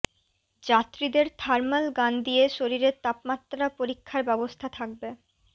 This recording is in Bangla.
যাত্রীদের থার্মাল গান দিয়ে শরীরের তাপমাত্রা পরীক্ষার ব্যবস্থা থাকবে